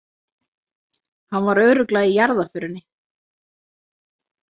Hann var örugglega í jarðarförinni.